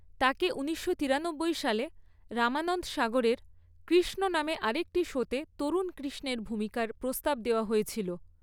তাকে ঊনিশশো তিরানব্বই সালে রামানন্দ সাগরের কৃষ্ণ নামে আরেকটি শোতে তরুণ কৃষ্ণের ভূমিকার প্রস্তাব দেওয়া হয়েছিল।